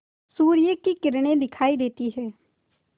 सूर्य की किरणें दिखाई देती हैं